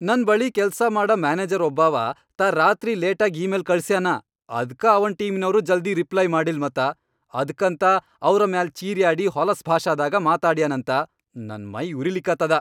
ನನ್ ಬಳಿ ಕೆಲ್ಸಾ ಮಾಡ ಮ್ಯಾನೆಜರ್ ಒಬ್ಬಾವ, ತಾ ರಾತ್ರಿ ಲೇಟಾಗ್ ಇ ಮೇಲ್ ಕಳ್ಸ್ಯಾನ, ಅದ್ಕ ಅವನ್ ಟೀಮಿನವ್ರು ಜಲ್ದಿ ರಿಪ್ಲೈ ಮಾಡಿಲ್ ಮತ, ಅದ್ಕಂತ ಅವ್ರ ಮ್ಯಾಲ್ ಚೀರ್ಯಾಡಿ ಹೊಲಸ್ ಭಾಷಾದಾಗ ಮಾತಾಡ್ಯಾನಂತ, ನನ್ ಮೈಯುರಿಲಿಕತ್ತದ.